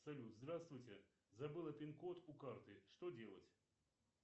салют здравствуйте забыла пин код у карты что делать